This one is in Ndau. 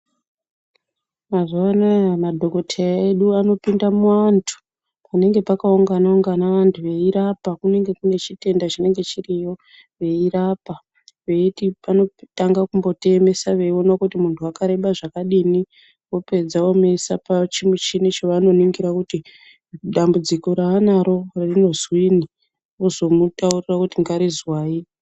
Mazuwanaya madhokodheya anopinde muantu penenge pakaunga-ungana vantu veirapa kunenge kune chitenda chinenge chiriyo veirapa veiti panotanga kumbotiemesa veiona kuti muntu wakareba zvakadini vopedza vomuisa pachimuchini chavanoningira kuti dambudziko raanaro naro rinozwinyi ozomitaurira kuti ngarizwai.